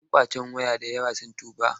Yan ƙwacen waya da yawa sun tuba.